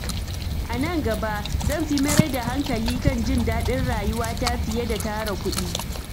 A nan gaba, zan fi mayar da hankali kan jin daɗin rayuwata fiye da tara kuɗi.